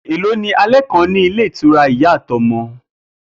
Èló ní alé̩ kan ní ilé ìtura Ìyá àti O̩mo̩?